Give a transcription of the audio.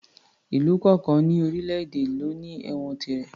Ìlú kọ̀ọ̀kan ní orílè èdè ló ní ẹ̀wọ̀n tirẹ̀